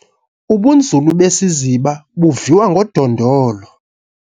Ubunzulu besiziva buviwa ngodondolo